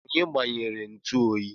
Onye gbanyere ntu oyi?